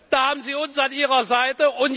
Da haben Sie uns an Ihrer Seite.